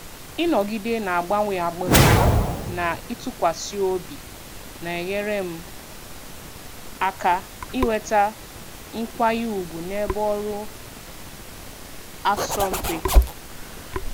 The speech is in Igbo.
Ịnọgide na-agbanwe agbanwe na ịtụkwasị obi na-enyere m aka inweta nkwanye ùgwù n'ebe ọrụ asọmpi.